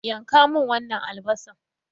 Yanka min wannan albasan.